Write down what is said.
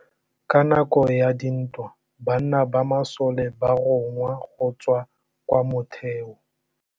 Ka nakô ya dintwa banna ba masole ba rongwa go tswa kwa mothêô.